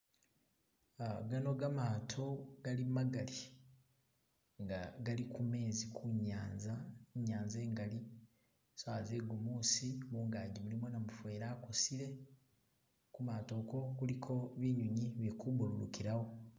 Ah gano gamato gali magali nga gali kumezi kunyanza , inyanza ingalali sawa ze gumusi mungaji mulimo namufeli akosile kumato ako guliko binyunyi bili ku dumukilawo